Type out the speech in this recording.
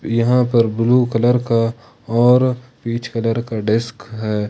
यहां पर blue colour का और पीच कलर का डेस्क है।